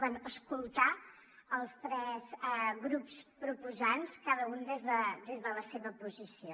bé escoltar els tres grups proposants cada un des de la seva posició